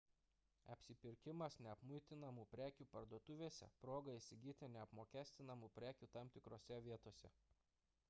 apsipirkimas neapmuitinamų prekių parduotuvėse – proga įsigyti neapmokestinamų prekių tam tikrose vietose